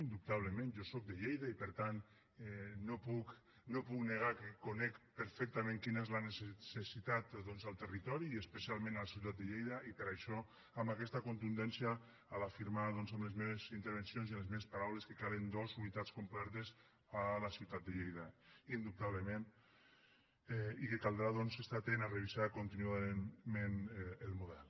indubtablement jo sóc de lleida i per tant no puc negar que conec perfectament quina és la necessitat doncs al territori i especialment a la ciutat de lleida i per això amb aquesta contundència a l’afirmar amb les meves intervencions i amb les meves paraules que calen dos unitats completes a la ciutat de lleida indubtablement i que caldrà estar atent a revisar contínuament el model